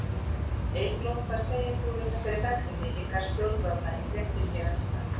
Eygló, hvað segir þú við þessari gagnrýni í garð stjórnvalda í fréttinni hér á undan?